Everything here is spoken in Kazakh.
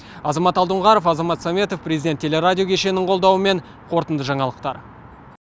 азамат алдоңғаров азамат сәметов президент телерадио кешенінің қолдауымен қорытынды жаңалықтар